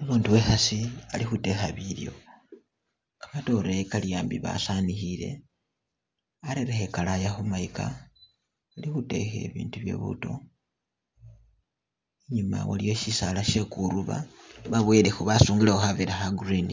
Umundu iwekhaasi ali khutekha bilyo, kamatoore kali ambi basaanikhile, arerekho ikalaya khumayika, ali khutekha ibindu bye buuto inyuma waliyo sisaala she kuruba, baboyelekho basungilekho khavera kha green,